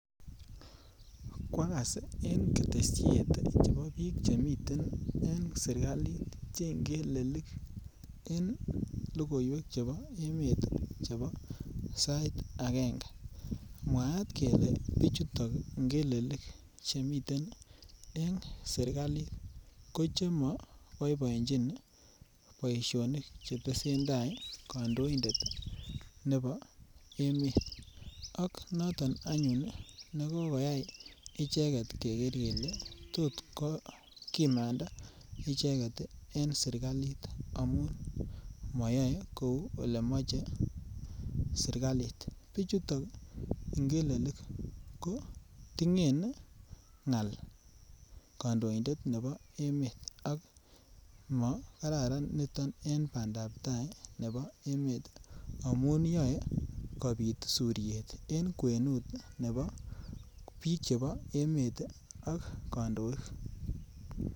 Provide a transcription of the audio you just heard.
Kwagas en ketesiet chebo biik che miten en sirkalit che ngelelik en logoywek chebo sait angenge mwaat kelee bichuton che ngelelik chemiten en serkalit ko chemo boiboenjin boisionik che tesentai kondoindet nebo emet ak noton anyun ii ko koyay icheget kegee kelee tot kimanda icheget en serkalit amun moyoe kouu elemoche serkalit, bichuton ngelelik ko tingen ngal kondoindet nebo emet ak mo kararan niton en bandap tai nebo emet amun yoe kopit suryet en kwenut nebo biik chebo emet ak kandoik